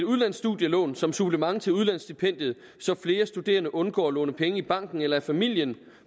udlandsstudielån som supplement til udlandsstipendiet så flere studerende undgår at låne penge i banken eller af familien